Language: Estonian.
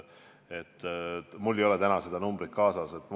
Mul ei ole täna seda numbrit kaasas.